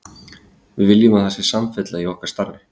Við viljum að það sé samfella í okkar starfi.